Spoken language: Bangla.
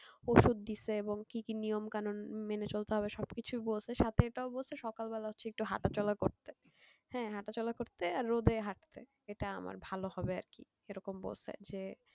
ওষুধ দিয়েছে এবং কি কি নিয়ম কানুন মেনে চলতে হবে সব কিছুই বলেছে সাথে এটাও বলেছে সকালে বেলায় একটু হাটা চলা করতে হ্যাঁ হাঁটা চলা করতে আর রোদে হাটঁতে এটা আমার ভালো হবে আরকি এরকম বলছে যে